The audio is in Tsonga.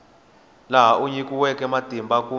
laha a nyikiweke matimba kumbe